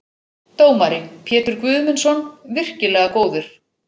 Dómari: Pétur Guðmundsson- virkilega góður.